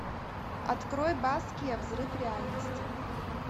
открой баския взрыв реальности